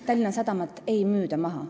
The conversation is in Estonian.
Tallinna Sadamat ei müüda maha.